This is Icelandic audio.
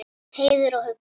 Heiður og huggun.